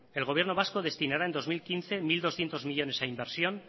el gobierno vasco destinará en dos mil quince mil doscientos millónes a inversión